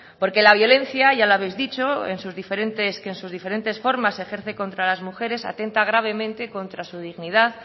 porque la violencia ya lo habéis dicho que en sus diferentes formas ejerce contra las mujeres atenta gravemente contra su dignidad